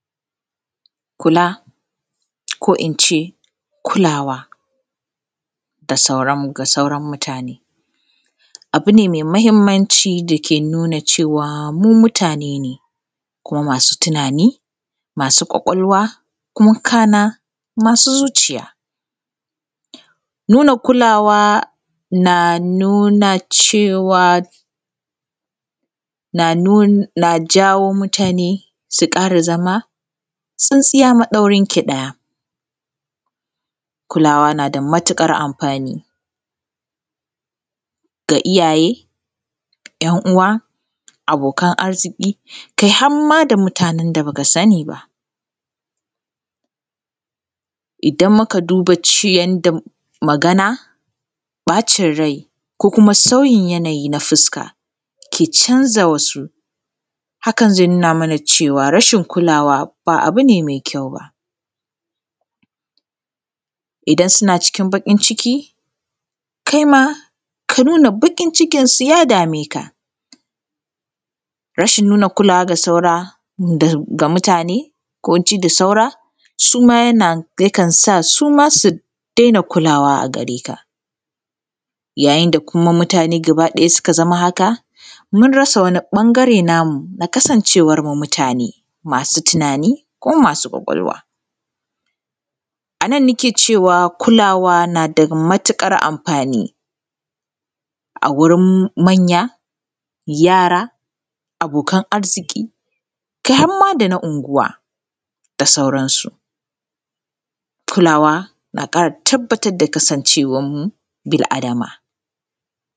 Kula ko in ce kulawa ga sauran mutane, abu ne mai mahimmanci dake nuna cewa mu mutane ne kuma masu tunani masu kwakwalwa kuma kana masu zuciya. Nuna kulawa na nuna cewa na jawo mutane su ƙara zama tsintsiya maɗaurinki ɗaya, kulawa na da matuƙar amfani ga iyaye, ‘yan’uwa, abokan arziki kai har ma da mutanen da ba ka sani ba, idan muka duba yanda magana ɓacin rai ko kuma sauyin yanayi na fuska ke canja wasu hakan zai nuna mana cewa rashin kulawa ba abu ba ne mai kyau ba. Idan suna cikin baƙinciki kai ma ka nuna baƙincikinsu ya dame ka, rashin nuna kulawa ga mutane ko ji da saura suma yana yakan sa suma su daina kulawa a gareka, yayin da kuma mutane gabaɗaya suka zama haka mun rasa wani a ɓangare namu na kasancewan mu mutane masu tunani, kuma masu kwakwalwa, a nan nike cewa kulawa na da matuƙar amfani a gurin manya, yara, abokannai kai har ma dana anguwa da sauransu, kulawa na kara tabbatar da kasancewan mu bil’Adama.